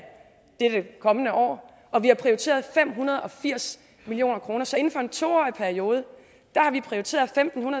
det kommende år og vi har prioriteret fem hundrede og firs million kroner så inden for en to årig periode har vi prioriteret femten